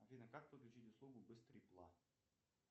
афина как подключить услугу быстрый пла